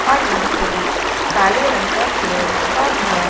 और यहां पे एक काले रंग का चेयर रखा हुआ है।